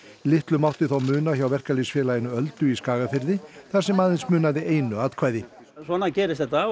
litlu mátti þó muna hjá Verkalýðsfélaginu Öldu í Skagafirði þar sem aðeins munaði einu atkvæði svona gerist þetta